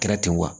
Kɛra ten wa